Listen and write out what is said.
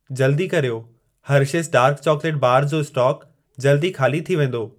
जल्दी कर्यो, Hershey's dark chocolate bar जो स्टोक जल्द ई खाली थी वेंदो।